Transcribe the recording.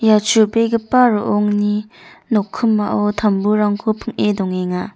ia chubegipa ro·ongni nokkimao tamburangko ping·e dongenga.